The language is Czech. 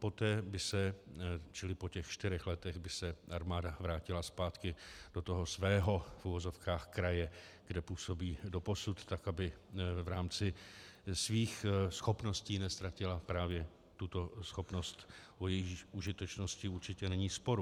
Poté by se, čili po těch čtyřech letech, by se armáda vrátila zpátky do toho svého, v uvozovkách, kraje, kde působí doposud, tak aby v rámci svých schopností neztratila právě tuto schopnost, o jejíž užitečnosti určitě není sporu.